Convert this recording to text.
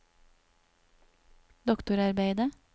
doktorarbeidet